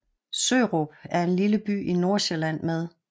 Sørup er en lille by i Nordsjælland med